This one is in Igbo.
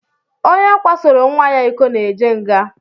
Onye kwasoro nwa ya ịkọ na-eje nga.